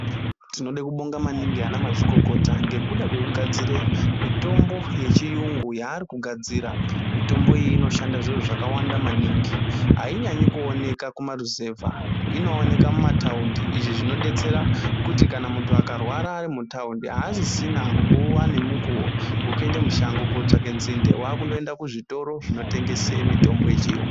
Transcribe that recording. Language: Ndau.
Tinode kubonga maningi ana mazvikokota ngekuda kwekugadzire mitombo yechiyungu yaari kugadzira , mitombo iyi inoshanda zviro zvakawanda maningi ainyanyi kuoneka kumaruzevha inoonekwa mumataundi izvi zvinodetsera kuti kana muntu akarwara arimutaundi aasisina nguwa nemukuwo wekuende mushango kotsvake nzinde wakundoenda kuzvitoro zvinotengese mitombo yechiyungu.